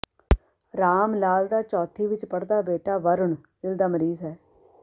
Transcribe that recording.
ਰਾਮ ਲਾਲ ਦਾ ਚੌਥੀ ਵਿੱਚ ਪੜ੍ਹਦਾ ਬੇਟਾ ਵਰੁਣ ਦਿਲ ਦਾ ਮਰੀਜ਼ ਹੈ